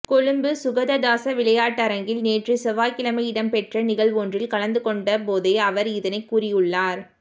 கொழும்பு சுகததாச விளையாட்டரங்கில் நேற்று செவ்வாய்க்கிழமை இடம்பெற்ற நிகழ்வொன்றில் கலந்துக்கொண்ட போதே அவர் இதனைக் கூறியுள்ளார்